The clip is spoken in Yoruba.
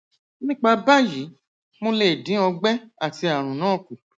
nípa báyìí mo lè dín ọgbẹ àti àrùn náà kù